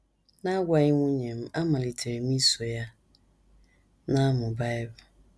N’agwaghị nwunye m, amalitere m iso ya na - amụ Bible.